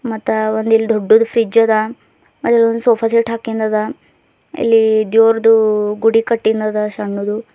ಮತ್ತ ಒಂದ್ ಇಲ್ಲಿ ದೊಡ್ಡದು ಫ್ರಿಡ್ಜ್ ಅದ ಮತ್ತು ಇಲ್ಲಿ ಒಂದು ಸೋಫ ಸೆಟ್ ಹಾಕಿಂದದ ಇಲ್ಲಿ ದೇವರ್ದು ಗುಡಿ ಕಟ್ಟೀದ್ ಆದ ಸಣ್ಣದು.